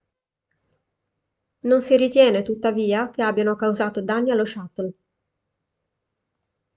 non si ritiene tuttavia che abbiano causato danni allo shuttle